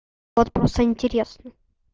вот просто интересно